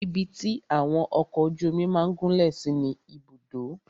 Ibi tí àwọn ọkọ ojú omi máà gúnlẹ̀ sí ni Ibùdó.